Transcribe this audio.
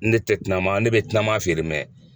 Ne ne tɛ kunaman, ne be kunaman feere